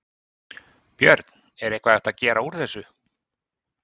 Björn: Er eitthvað hægt að gera úr þessu?